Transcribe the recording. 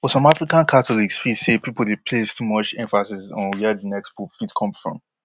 but some african catholics feel say pipo dey place too much emphasis on wia di next pope fit come from